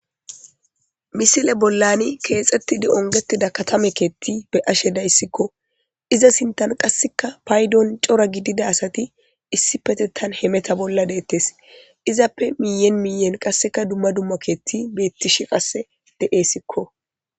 misile bollani keexettidi ongetida katame keetti be ashe dayssikko iza sintan qasseka paydon cora gidida asati issi petetan hemeta bolla deettes izappe miyen miyen qasseka dumma dumma keetti beettish qasse de7eyssikko